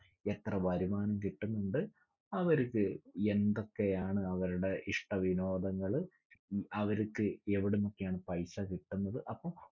എത്ര വരുമാനം കിട്ടുന്നുണ്ട്. അവരിപ്പോ എന്തൊക്കെയാണ് അവരുടെ ഇഷ്ട വിനോദങ്ങള്. അവരിക്ക് എവിടുന്നൊക്കെയാണ് പൈസ കിട്ടുന്നത്. അപ്പം